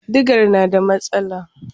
Digar na da matsala.